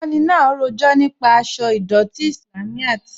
Olùkọni náà rọjọ̀ nípa àṣọ̀ idọ̀tí Islámíyàt.